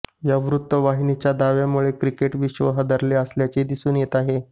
या वृत्तवाहिनीच्या दाव्यामुळे क्रिकेटविश्व हादरले असल्याचे दिसून येत आहे